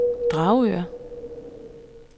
Dragør